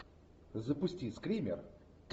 запусти скример